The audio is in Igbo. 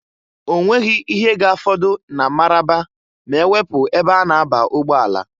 Onweghi ihe ga-afọdụ na Mararaba ma-ewepu ebe a na-aba ụgbọala.